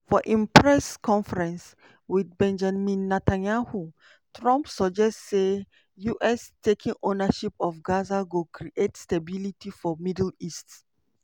for im press conference wit benjamin netanyahu trump suggest say us taking ownership of gaza go create stability for middle east.